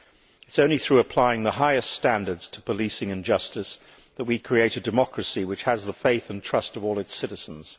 It is only through applying the highest standards to policing and justice that we create a democracy which has the faith and trust of all its citizens.